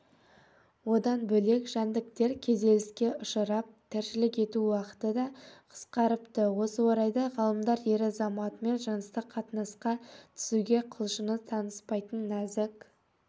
одан бөлек жәндіктер күйзеліске ұшырап тіршілік ету уақыты да қысқарыпты осы орайда ғалымдар ер азаматымен жыныстық қатынасқа түсуге құлшыныс танытпайтын нәзік